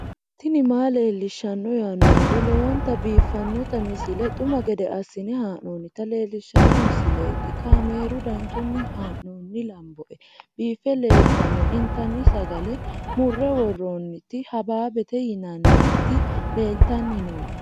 tini maa leelishshanno yaannohura lowonta biiffanota misile xuma gede assine haa'noonnita leellishshanno misileeti kaameru danchunni haa'noonni lamboe biiffe leeeltanno intanni sagale murre worornniti hababbete yinanniti leeltanni nooe